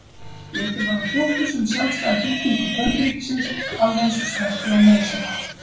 Litið var á fléttur sem sjálfstæða fylkingu plönturíkisins alveg eins og sveppi og mosa.